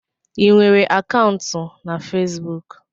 Ị nwere akaụntụ na Fesbuk?